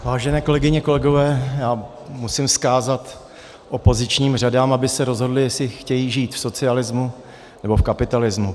Vážené kolegyně, kolegové, já musím vzkázat opozičním řadám, aby se rozhodly, jestli chtějí žít v socialismu, nebo v kapitalismu.